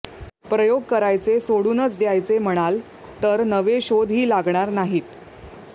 प्रयोग करायचे सोडूनच द्यायचे म्हणाल तर नवे शोधही लागणार नाहीत